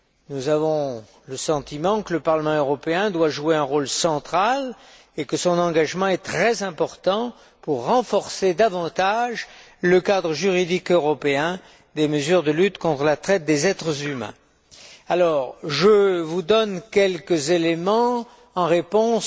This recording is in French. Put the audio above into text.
Nous avons le sentiment que le Parlement européen doit jouer un rôle central et que son engagement est très important pour renforcer davantage le cadre juridique européen des mesures de lutte contre la traite des êtres humains. Je vous donne donc quelques éléments en réponse